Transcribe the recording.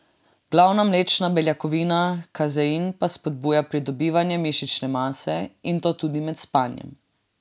Glavna mlečna beljakovina kazein pa spodbuja pridobivanje mišične mase, in to tudi med spanjem.